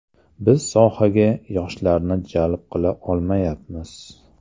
Biz sohaga yoshlarni jalb qila olmayapmiz.